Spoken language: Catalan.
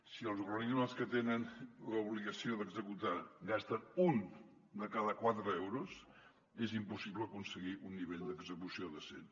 si els organismes que tenen l’obligació d’executar gasten un de cada quatre euros és impossible aconseguir un nivell d’execució decent